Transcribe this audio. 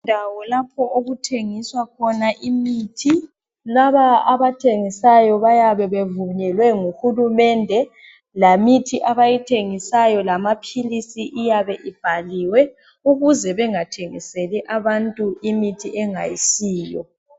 Indawo lapho okuthengiswa khona imithi. Laba abayithengisayo, bayabe bevunyelwe nguhulumende. Lemithi abayithengisayo, lamaphilisi, iyabe ibhaliwe. Ukuze bengathengiseli abantu imithi engayisiyo.